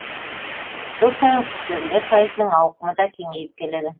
жыл сайын құсбегілер сайысының ауқымы да кеңейіп келеді